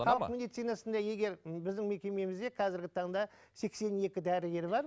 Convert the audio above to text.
халық медицинасында егер біздің мекемемізде қазіргі таңда сексен екі дәрігер бар